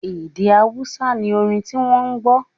Èdè Awúsá ni orin ti wọ́ n gbọ́